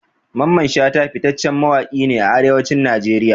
Mamman shata fitaccen mawaƙi ne a Arewacin Najeriya.